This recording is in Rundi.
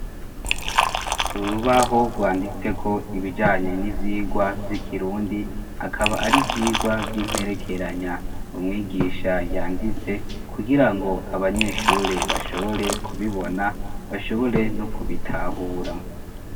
Urubaho rwanditse ko ibijanye n'ivyigwa by'ikirundi akaba ari vyigwa by'imperekeranya umwigisha yanditse kugira ngo abanyeshure bashobore kubibona bashobore no kubitahura.